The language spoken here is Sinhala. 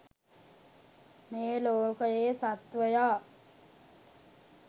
මේ ලෝකයේ සත්ත්වයා